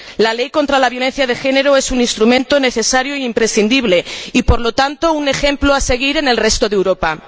La Ley contra la Violencia de Género es un instrumento necesario e imprescindible y, por lo tanto, un ejemplo a seguir en el resto de Europa.